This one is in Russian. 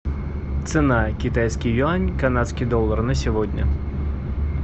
цена китайский юань канадский доллар на сегодня